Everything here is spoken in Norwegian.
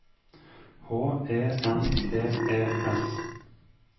H E N T E S